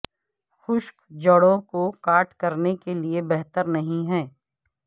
خشک جڑوں کو کاٹ کرنے کے لئے بہتر نہیں ہے